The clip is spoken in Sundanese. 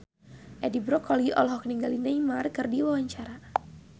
Edi Brokoli olohok ningali Neymar keur diwawancara